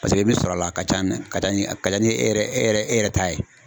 Paseke i bɛ sɔrɔ a la, a ka ca ni a ka ca ni a ka ca nin e yɛrɛ e yɛrɛ e yɛrɛ ta ye.